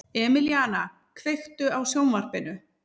Emelíana, kveiktu á sjónvarpinu.